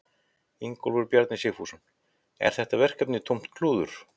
Ingólfur Bjarni Sigfússon: Er þetta verkefni tómt klúður?